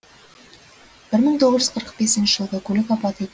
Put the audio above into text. бір мың тоғыз жүз қырық бесінші жылғы көлік апаты